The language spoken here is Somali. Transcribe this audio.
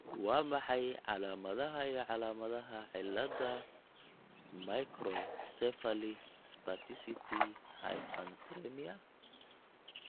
Waa maxay calaamadaha iyo calaamadaha cilladda Microcephaly spasticity hypernatremia?